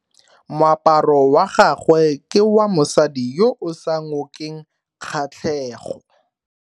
Moaparo wa gagwe ke wa mosadi yo o sa ngokeng kgatlhego.